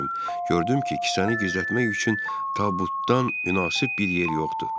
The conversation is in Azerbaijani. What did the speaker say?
Gördüm ki, kisəni gizlətmək üçün tabutdan münasib bir yer yoxdur.